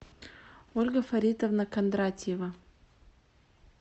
ольга фаритовна кондратьева